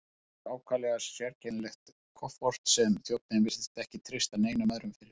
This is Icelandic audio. Síðast fór ákaflega sérkennilegt kofort sem þjónninn virtist ekki treysta neinum öðrum fyrir.